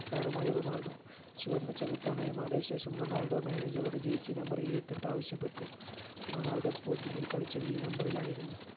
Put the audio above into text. താരമായി റൊണാൾഡോ ചുവന്ന ചെകുത്താനായി മാറിയ ശേഷം റൊണാൾഡോ manager ഓട് jersey number ഇരുപത്തെട്ട് ആവശ്യപ്പട്ടു റൊണാൾഡോ sporting ൽ കളിച്ചത് ഈ number ലായിരുന്നു